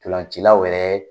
Tolancilaw wɛrɛ.